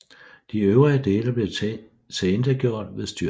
De øvrige dele blev tilintetgjort ved styrtet